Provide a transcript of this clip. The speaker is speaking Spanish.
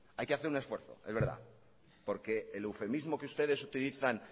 hay que hacer un esfuerzo es verdad porque el eufemismo que ustedes utilizan